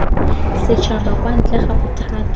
setšhaba kwa ntle ga bothati